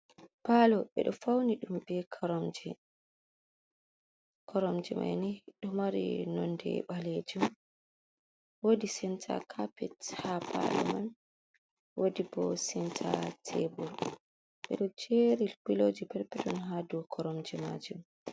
Paalo, ɓe do fauni dum be koromje, koromje mani do maari nonde baleejum woodi senta kaapet ha paalo man. woodi bo senta tebur ɓedo jeeri pilojii peton, peton ha dow koromje maajum.